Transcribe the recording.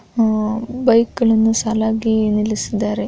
‌ ಅಹ್ ಬೈಕ ಗಳನ್ನು ಸಾಲಾಗಿ ನಿಲ್ಲಿಸಿದ್ದಾರೆ .